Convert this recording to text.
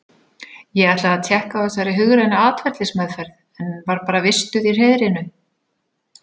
Ég ætlaði að tékka á þessari hugrænu atferlismeðferð, en var bara vistuð í hreiðrinu.